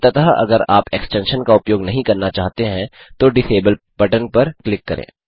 अंततः अगर आप एक्सटेंशन का उपयोग नहीं करना चाहते हैं तो डिसेबल पर बटन क्लिक करें